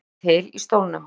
Ekur sér til í stólnum.